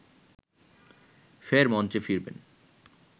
ফের মঞ্চে ফিরবেন